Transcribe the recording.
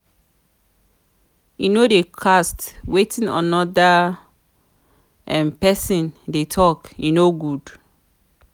no dey to cast wetin anoda pesin dey tok e no good.